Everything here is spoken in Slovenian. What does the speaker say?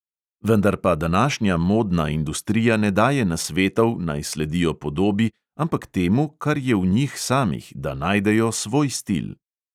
Vendar pa današnja modna industrija ne daje nasvetov, naj sledijo podobi, ampak temu, kar je v njih samih, da najdejo svoj stil.